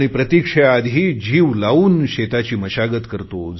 आणि प्रतिक्षेआधि जीव लावून शेताची मशागत करतो